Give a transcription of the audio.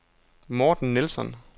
Morten Nilsson